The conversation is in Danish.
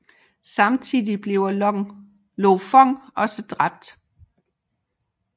Samtidig bliver Lo Fong også dræbt